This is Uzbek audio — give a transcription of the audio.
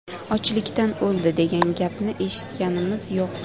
Ochlikdan o‘ldi, degan gapni eshitganimiz yo‘q.